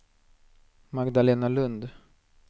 Magdalena Lund